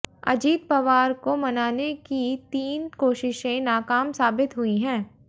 अजीत पवार को मनाने की तीन कोशिशें नाकाम साबित हुई हैं